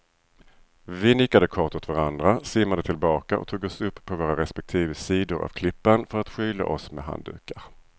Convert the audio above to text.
Vi nickade kort åt varandra, simmade tillbaka och tog oss upp på våra respektive sidor av klippan för att skyla oss med handdukar.